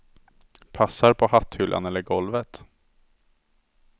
Passar på hatthyllan eller på golvet.